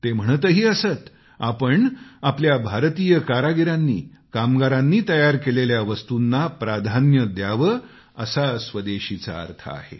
ते म्हणतही असत आपण आपल्या भारतीय कारागिरांनी कामगारांनी तयार केलेल्या वस्तूंना प्राधान्य द्यावे असा स्वदेशीचा अर्थ आहे